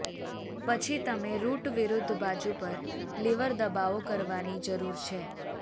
પછી તમે રુટ વિરુદ્ધ બાજુ પર લીવર દબાવો કરવાની જરૂર છે